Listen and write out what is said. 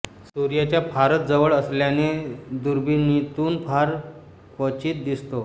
सूर्याच्या फारच जवळ असल्याने दुर्बिणीतून फार क्वचित दिसतो